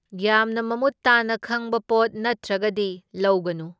ꯌꯥꯝꯅ ꯃꯃꯨꯠ ꯇꯥꯅ ꯈꯪꯕ ꯄꯣꯠ ꯅꯠꯇ꯭ꯔꯒꯗꯤ ꯂꯧꯒꯅꯨ꯫